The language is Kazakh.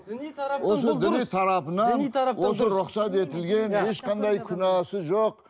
осы рұқсат етілген ешқандай күнәсі жоқ